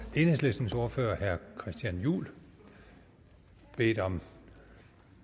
enhedslistens ordfører herre christian juhl bedt om